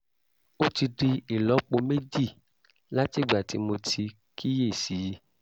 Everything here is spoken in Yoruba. ó ti di ìlọ́po méjì látìgbà tí mo ti kíyè sí i